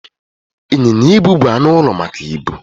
Ịnyịnya ibu bụ anụ ụlọ maka ibu.